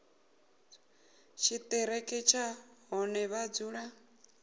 tshiṱiriki tsha hune vha dzula